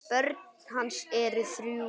Börn hans eru þrjú.